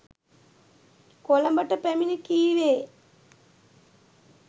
කොළඹට පැමිණ කීවේ